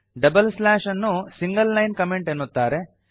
double slash ಅನ್ನು single line comment ಎನ್ನುತ್ತಾರೆ